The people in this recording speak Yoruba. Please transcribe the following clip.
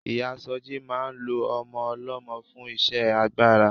Ìyáa Sọjí máa ń lo ọmọ ọlọ́mọ fún iṣẹ́ agbára.